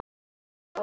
Taktu á!